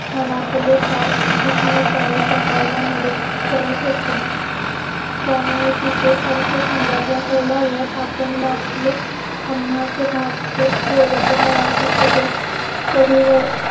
मनातले भाव सूक्ष्मपणे सांगायला मदद करत असते त्यामुळे तिचे अर्थ संदर्भ कळ्यावर आपण लाभलो आम्हास भाग्य बोले तो मराठीत असे कडेवर